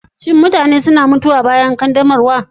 Shin mutane suna mutuwa bayan ƙaddamarwa?